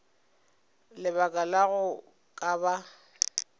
lebaka la go ka ba